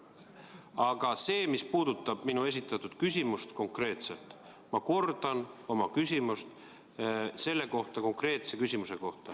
Aga see, mis puudutab minu esitatud konkreetset küsimust – ma kordan oma küsimust.